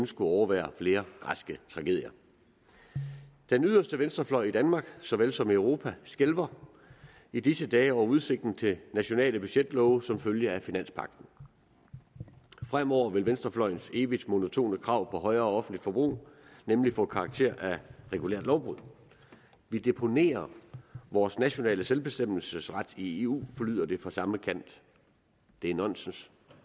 skulle overvære flere græske tragedier den yderste venstrefløj i danmark såvel som i europa skælver i disse dage over udsigten til nationale budgetlove som følge af finanspagten fremover vil venstrefløjens evigt monotone krav om højere offentligt forbrug nemlig få karakter af regulært lovbrud vi deponerer vores nationale selvbestemmelsesret i eu lyder det fra samme kant det er nonsens